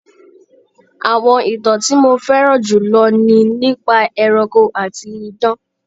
Àwọn ìtàn tí mo fẹ́ràn jù lọ ni nípa ẹranko àti idán.